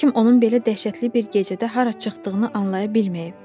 Heç kim onun belə dəhşətli bir gecədə hara çıxdığını anlaya bilməyib.